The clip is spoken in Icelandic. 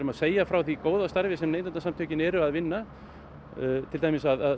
að segja frá því góða starfi sem Neytendasamtökin eru að vinna